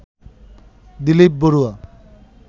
Dilip Barua